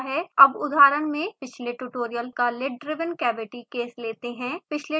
अब उदाहरण में पिछले ट्यूटोरियल का lid driven cavity केस लेते हैं